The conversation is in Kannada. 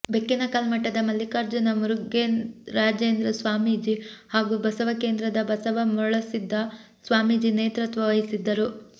ಬೆಕ್ಕಿನಕಲ್ಮಠದ ಮಲ್ಲಿಕಾರ್ಜುನ ಮುರುಘರಾಜೇಂದ್ರ ಸ್ವಾಮೀಜಿ ಹಾಗೂ ಬಸವಕೇಂದ್ರದ ಬಸವ ಮರುಳಸಿದ್ಧ ಸ್ವಾಮೀಜಿ ನೇತೃತ್ವ ವಹಿಸಿದ್ದರು